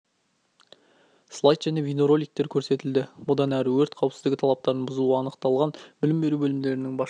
слайд және бейнероликтер көрсетілді бұдан әрі өрт қауіпсіздігі талаптарының бұзылуы анықталған білім беру бөлімдерінің басшылары